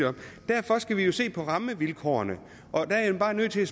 derfor skal vi jo se på rammevilkårene og der er jeg bare nødt til